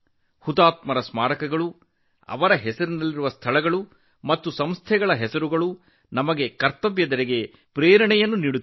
ಹುತಾತ್ಮರ ಹೆಸರಿನ ಸ್ಮಾರಕಗಳು ಸ್ಥಳಗಳು ಮತ್ತು ಸಂಸ್ಥೆಗಳು ನಮ್ಮಲ್ಲಿ ಕರ್ತವ್ಯ ಪ್ರಜ್ಞೆಯನ್ನು ಪ್ರೇರೇಪಿಸುತ್ತವೆ